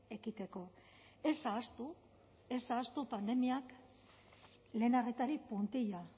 ekiteko ez ahaztu ez ahaztu pandemiak lehen arretari puntilla